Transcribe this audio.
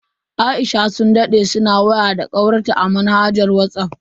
Aisha sun dade suna waya da kawarta ta manhajar Whatsapp.